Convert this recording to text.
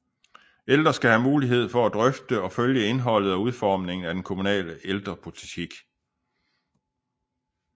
Ældre skal have mulighed for at drøfte og følge indholdet og udformningen af kommunens ældrepolitik